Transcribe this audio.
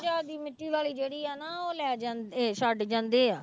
ਮਿੱਟੀ ਵਾਲੀ ਜਿਹੜੀ ਆ ਨਾ ਉਹ ਲੈ ਜਾਂਦੇ, ਛੱਡ ਜਾਂਦੇ ਆ।